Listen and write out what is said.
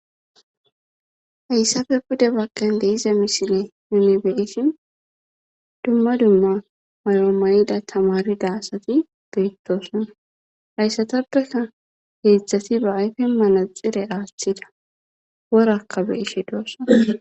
hayssafe buda baggan deiza misile yuunibeesin dumma dumma mayo mayida tamarida asati beyttosona hayssatappeka heedzdzati ba ayfe mana xire aaththida worakka beishe doossa